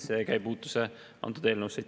Seega ei puutu see antud eelnõusse.